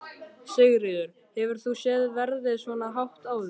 Sigríður: Hefur þú séð verðið svona hátt áður?